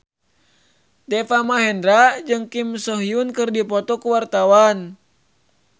Deva Mahendra jeung Kim So Hyun keur dipoto ku wartawan